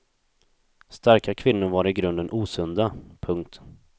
Starka kvinnor var i grunden osunda. punkt